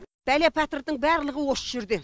бәле пәтірдің барлығы осы жерде